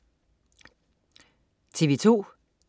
TV2: